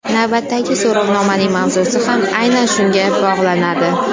Navbatdagi so‘rovnomaning mavzusi ham aynan shunga bog‘lanadi.